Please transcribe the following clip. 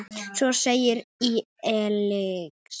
Svo segir í Egils sögu